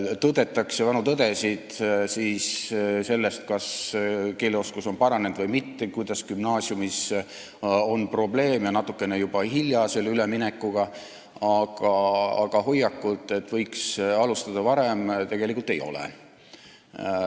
Tõdetakse vanu tõdesid, kas keeleoskus on paranenud või mitte, kuidas gümnaasiumis on probleeme, natukene on juba hiljaks jäädud selle üleminekuga, aga hoiakut, et võiks varem alustada, tegelikult ei ole.